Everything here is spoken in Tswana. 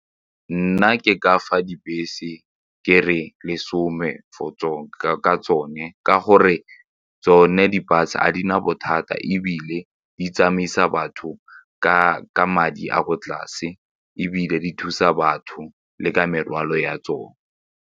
Nna ke ka fa dibese ke re lesome ka tsone ka gore tsone di-bus ga di na bothata ebile di tsamaisa batho ka ka madi a ko tlase ebile di thusa batho le ka morwalo ya tsone.